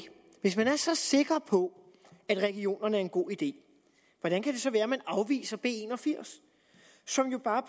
hvis man er så sikker på at regionerne er en god idé hvordan kan det så være at man afviser b en og firs som jo bare